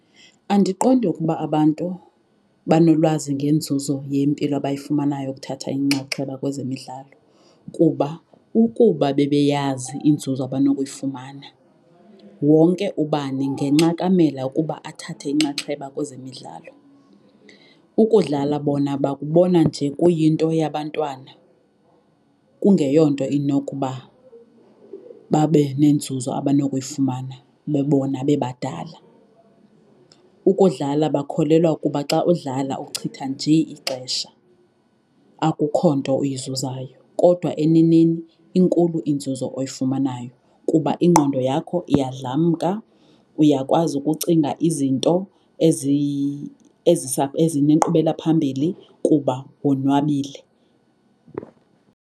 Andiqondi ukuba abantu banolwazi ngenzuzo yempilo abayifumanayo ukuthatha inxaxheba kwezemidlalo kuba ukuba bebeyazi inzuzo abanokuyifumana, wonke ubani ngenxakamela ukuba athathe inxaxheba kwezemidlalo. Ukudlala bona bakubona nje kuyinto yabantwana kungeyonto inokuba babe nenzuzo abanokuyifumana bebona bebadala. Ukudlala bakholelwa ukuba xa udlala uchitha nje ixesha, akukho nto uyizuzayo. Kodwa eneneni inkulu inzuzo oyifumanayo kuba ingqondo yakho iyadlamka, uyakwazi ukucinga izinto ezinenkqubela phambili kuba wonwabile.